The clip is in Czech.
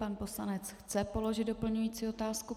Pan poslanec chce položit doplňující otázku.